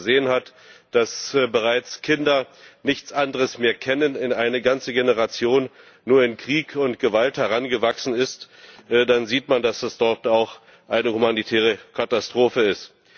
Und wenn man gesehen hat, dass bereits Kinder nichts anderes mehr kennen, dass eine ganze Generation nur in Krieg und Gewalt herangewachsen ist, dann sieht man, dass es dort auch eine humanitäre Katastrophe ist.